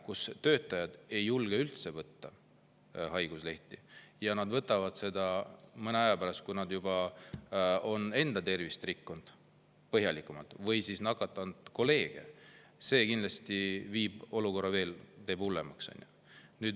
Kui töötajad ei julge haiguslehte üldse võtta või nad võtavad selle mõne aja pärast, kui nad on enda tervist juba põhjalikumalt rikkunud või nakatanud kolleege, teeb see olukorra kindlasti veel hullemaks.